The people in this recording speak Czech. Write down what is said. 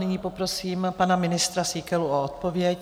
Nyní poprosím pana ministra Síkelu o odpověď.